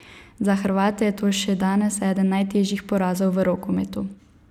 Za Hrvate je to še danes eden najtežjih porazov v rokometu.